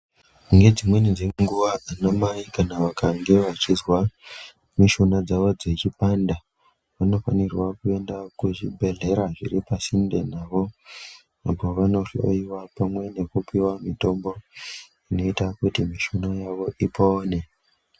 Nedzimweni dzenguva, anamai kana vakange vachizwa mishuna dzavo dzichipanda, vanofanirwa kuenda kuzvibhedhlera zviri pasinde navo, uko vanohloyiwa pamwe nekupiwa mitombo inoita kuti mishuna yavo ipone.